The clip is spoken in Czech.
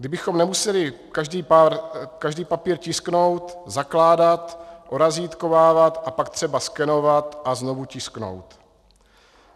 Kdybychom nemuseli každý papír tisknout, zakládat, orazítkovávat a pak třeba skenovat a znovu tisknout.